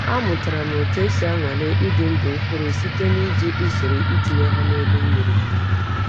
Amụtara m otu esi anwale ịdị ndụ mkpụrụ site n’iji usoro itinye ha n’elu mmiri.